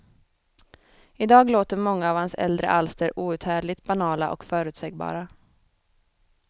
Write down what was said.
I dag låter många av hans äldre alster outhärdligt banala och förutsägbara.